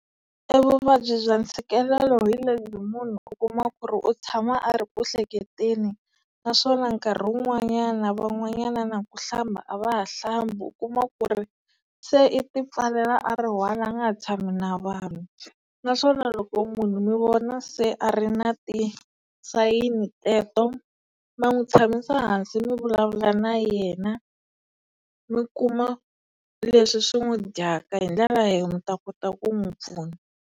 E vuvabyi bya ntshikelelo hi lembi munhu u kuma ku ri u tshama a ri ku hleketeni naswona nkarhi wun'wanyana van'wanyana na ku hlamba a va ha hlambi u kuma ku ri se i ti pfalela a ri one a nga ha tshami na vanhu naswona loko munhu mi vona se a ri na ti-sign-ni teto ma n'wi tshamisa hansi mi vulavula na yena mi kuma leswi swi n'wi dyaka hi ndlela leyi mi ta kota ku n'wi pfuna.